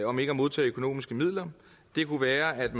om ikke at modtage økonomiske midler kunne være at